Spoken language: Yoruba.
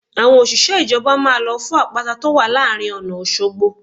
Àwọn òṣìṣẹ́ ìjọba máa lọ fọ́ àpáta tó wà láàrin ọ̀nà Òṣogbo